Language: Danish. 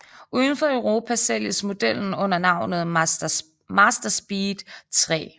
Udenfor Europa sælges modellen under navnet Mazdaspeed 3